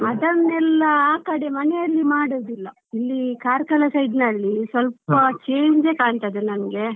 ಅದನ್ನೆಲ್ಲಾ ಆ ಕಡೆ ಮನೆಯಲ್ಲಿ ಮಾಡುದಿಲ್ಲ ಇಲ್ಲಿ Karkala side ನಲ್ಲಿ ಸ್ವಲ್ಪ change ಯೇ ಕಾಣ್ತದೆ ನನ್ಗೆ.